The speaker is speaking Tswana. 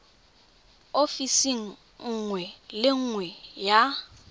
ofising nngwe le nngwe ya